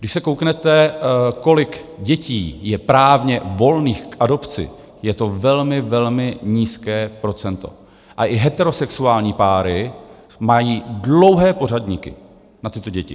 Když se kouknete, kolik dětí je právně volných k adopci, je to velmi, velmi nízké procento a i heterosexuální páry mají dlouhé pořadníky na tyto děti.